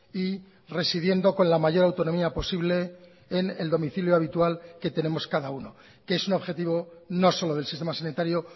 y residiendo con la mayor autonomía posible en el domicilio habitual que tenemos cada uno que es un objetivo no solo del sistema sanitario